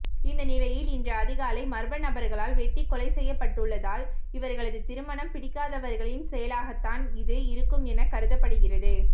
இந்த நிலையில் இன்று அதிகாலை மர்மநபர்களால் வெட்டிக்கொலை செய்யப்பட்டுள்ளதால் இவர்களது திருமணம் பிடிக்காதவர்களின் செயலாகத்தான் இது இருக்கும் என கருதப்படுகிறது